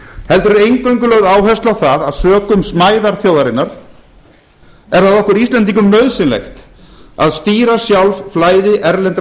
heldur eingöngu lögð áhersla á það að sökum smæðar þjóðarinnar er það okkur íslendingum nauðsynlegt að stýra sjálf flæði erlendra